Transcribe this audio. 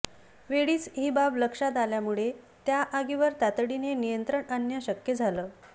वेळीच ही बाब लक्षात आल्यामुळे त्या आगीवर तातडीने नियंत्रण आणणं शक्य झालं